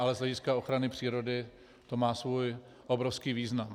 Ale z hlediska ochrany přírody to má svůj obrovský význam.